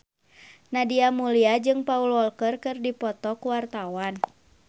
Nadia Mulya jeung Paul Walker keur dipoto ku wartawan